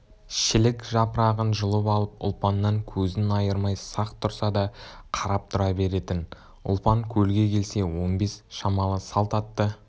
шілік жапырағын жұлып алып ұлпаннан көзін айырмай сақ тұрса да қарап тұра беретін ұлпан көлге келсе он бес шамалы салт атты